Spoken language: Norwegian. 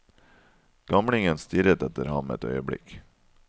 Gamlingen stirret etter ham et øyeblikk.